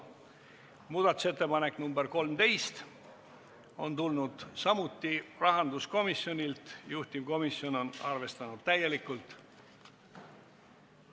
Muudatusettepanek nr 13 on tulnud samuti rahanduskomisjonilt, juhtivkomisjon on arvestanud täielikult.